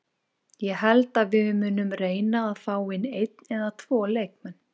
Ég held að við munum reyna fá inn einn eða tvo leikmenn.